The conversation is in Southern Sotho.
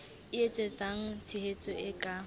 e etsetsang tshehetso e ka